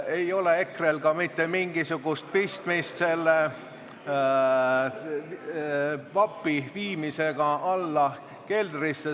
Ei ole EKRE-l ka mitte mingisugust pistmist selle vapi viimisega alla keldrisse.